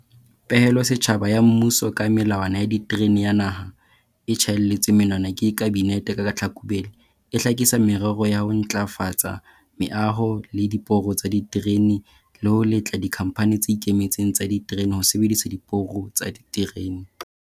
Pehelo setjhaba ya mmuso ka Melawana ya Diterene ya Naha, e tjhaelletsweng monwana ke Kabinete ka Tlhakubele, e hlakisa merero ya ho ntjhafatsa meaho le diporo tsa diterene le ho letla dikhamphani tse ikemetseng tsa diterene ho sebedisa diporo tsa diterene.